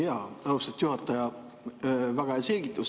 Jaa, austatud juhataja, väga hea selgitus.